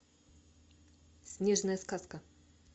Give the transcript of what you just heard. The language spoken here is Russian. снежная сказка